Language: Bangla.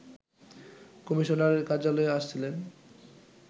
কমিশনারের কার্যালয়ে আসছিলেন